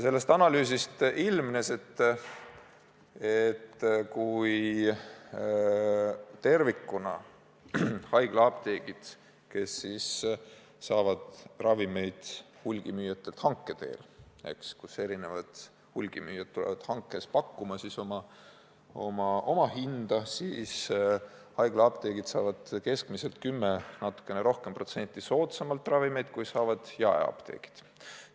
Sellest analüüsist ilmnes, et haiglaapteegid, kes saavad ravimeid hulgimüüjatelt hanke teel, mille korral eri hulgimüüjad pakuvad hankes oma hinda, saavad keskmiselt 10% või natukene rohkem soodsamalt ravimeid kui jaemüügiapteegid.